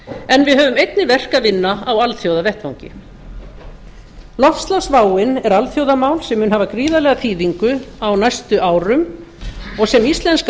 en við höfum einnig verk að vinna á alþjóðavettvangi loftslagsváin er alþjóðamál sem mun hafa gríðarlega þýðingu á næstu árum sem sem íslenska